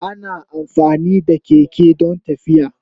Ana amfani da keke don tafiya.